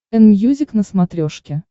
энмьюзик на смотрешке